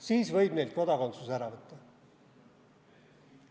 Siis võib neilt kodakondsuse ära võtta.